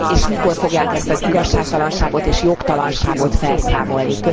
Hogy és mikor fogják ezt az igazságtalanságot és jogtalanságot felszámolni?